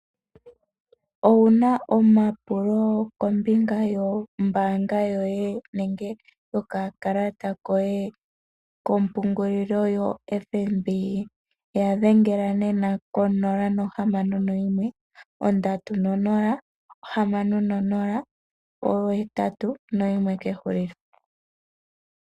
Owuna omapulo kombinga yombanga yoye nenge yoka kalata koye kompungulilo yoFNB ya dhengela nena ko nola nohamano noyimwe ondatu nonola ohamano nonola ohetatu noyimwe ke hulilo.